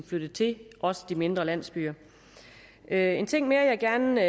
flyttede til også de mindre landsbyer en ting mere jeg gerne